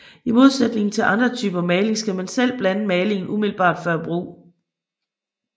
I modsætning til mange andre typer maling skal man selv blande malingen umiddelbart før brug